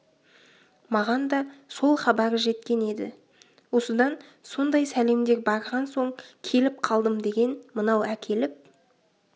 маған да сол хабары жеткен еді осыдан сондай сәлемдер барған соң келіп қалдым деген мынау әкеліп